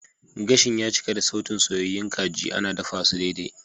Gashin ya cika da sautin soyyayun kajin ana dafasu daidai.